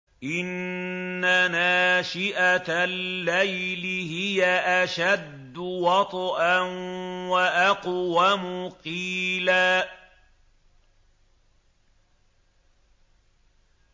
إِنَّ نَاشِئَةَ اللَّيْلِ هِيَ أَشَدُّ وَطْئًا وَأَقْوَمُ قِيلًا